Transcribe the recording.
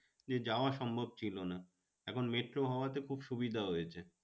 যে যাওয়া সম্ভব ছিল না। এখন মেট্রো হওয়াতে খুব সুবিধা হয়েছে।